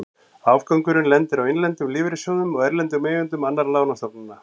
Afgangurinn lendir á innlendum lífeyrissjóðum og erlendum eigendum annarra lánastofnana.